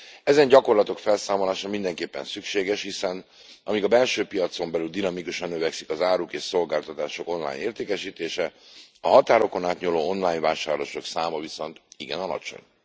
Ezen gyakorlatok felszámolása mindenképpen szükséges, hiszen amíg a belső piacon belül dinamikusan növekszik az áruk és szolgáltatások online értékesítése, a határokon átnyúló online vásárlások száma igen alacsony.